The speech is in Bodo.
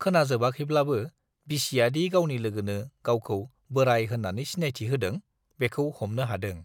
खोनाजोबाखैब्लाबो बिसियादि गावनि लोगोनो गावखौ बोराइ होन्नानै सिनायथि होदों - बेखौ हमनो हादों।